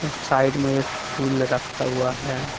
Side में एक फूल रखा हुआ है।